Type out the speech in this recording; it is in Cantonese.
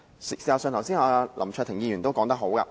事實上，林卓廷議員剛才說得好。